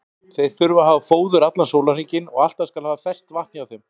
Þeir þurfa að hafa fóður allan sólarhringinn og alltaf skal haft ferskt vatn hjá þeim.